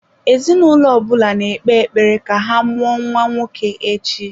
Ezinụlọ ọ bụla na-ekpe ekpere ka ha mụọ nwa nwoke echi.